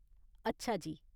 अच्छा जी।